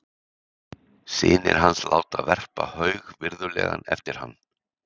Synir hans láta verpa haug virðulegan eftir hann.